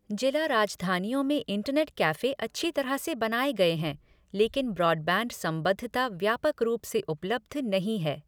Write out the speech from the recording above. जिला राजधानियों में इंटरनेट कैफ़े अच्छी तरह से बनाए गए हैं, लेकिन ब्रॉडबैंड संबद्धता व्यापक रूप से उपलब्ध नहीं है।